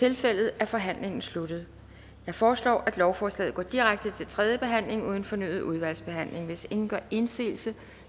tilfældet er forhandlingen sluttet jeg foreslår at lovforslaget går direkte til tredje behandling uden fornyet udvalgsbehandling hvis ingen gør indsigelse